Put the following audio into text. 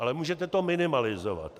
Ale můžete to minimalizovat.